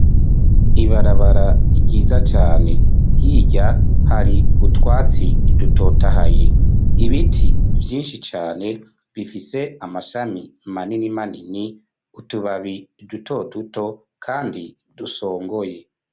Ibarabara ryiza cane hirya hari utwatsi dutotahaye, ibiti vyinshi cane bifise amashami manini manini, utubabi duto duto kandi dusongoye.